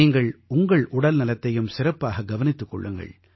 நீங்கள் உங்கள் உடல்நலத்தையும் சிறப்பாக கவனித்துக் கொள்ளுங்கள்